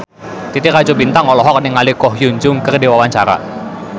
Titi Rajo Bintang olohok ningali Ko Hyun Jung keur diwawancara